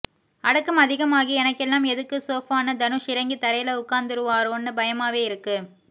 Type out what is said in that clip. அடக்கம் அதிகமாகி எனக்கெல்லாம் எதுக்கு சோஃபான்னு தனுஷ் இறங்கி தரைல உக்காந்துருவாரோன்னு பயமாவே இருக்கு